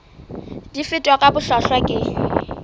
di fetwa ka bohlwahlwa ke